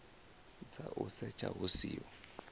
dza u setsha hu siho